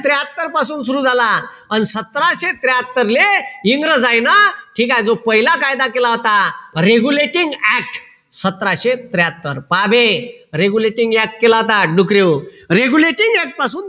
त्र्याहत्तर पासून सुरु झाला अन सतराशे त्र्याहात्तरले इंग्रजायीन ठीक आहे जो पहिला कायदा केला होता regulative act सतराशे त्र्याहात्तर पहाबे regulative act केला होता डुकरेहो regulative act पासून